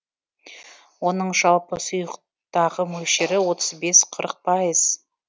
оның жалпы сұйықтағы мөлшері отыз бес қырық пайыз